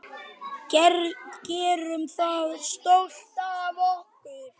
Gerum það stolt af okkur.